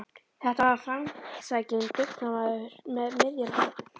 Þetta var framsækinn dugnaðarmaður við miðjan aldur.